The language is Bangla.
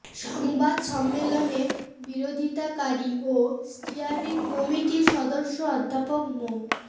সংবাদ সম্মেলনের বিরোধিতাকারী ও স্টিয়ারিং কমিটির সদস্য অধ্যাপক মো